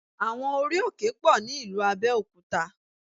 Àwọn orí-òkè pọ̀ ní ìlú Abẹ́òkúta